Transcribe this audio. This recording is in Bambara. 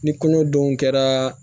Ni kɔnɔdenw kɛra